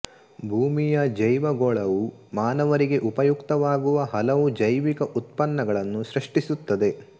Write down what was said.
ಭೂಮಿಯ ಜೈವಗೋಳವು ಮಾನವರಿಗೆ ಉಪಯುಕ್ತವಾಗುವ ಹಲವು ಜೈವಿಕ ಉತ್ಪನ್ನಗಳನ್ನು ಸೃಷ್ಟಿಸುತ್ತದೆ